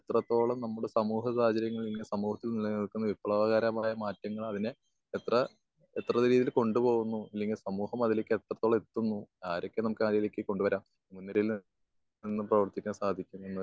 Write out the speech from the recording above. നമ്മൾ എത്രത്തോളം നമ്മുടെ സമൂഹ സാഹചര്യങ്ങളിൽ നിന്ന് സമൂഹത്തിൽ നിലനിൽക്കുന്ന വിപ്ലവകരമായ മാറ്റങ്ങൾ അതിന് എത്ര എത്ര പിരീഡ് കൊണ്ടുപോകുന്നു അല്ലെങ്കി സമൂഹം അതിൽക്ക് എത്രത്തോളം എത്തുന്നു. ആറൊക്കെ നമുക്ക് അതിലേക്ക് കൊണ്ടുവരാം. മുൻനിരയിൽ നിന്ന് പ്രവർത്തിക്കാൻ സാധിക്കുന്നൂന്നൊക്കെ